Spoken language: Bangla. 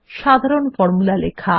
সাধারণ ফর্মুলা লেখা